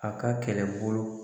A ka kɛlɛbolo.